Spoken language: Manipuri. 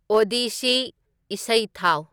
ꯑꯣꯗꯤꯁꯤ ꯏꯁꯩ ꯊꯥꯎ